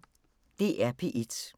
DR P1